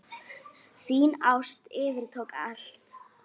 Þín ást yfirtók allt.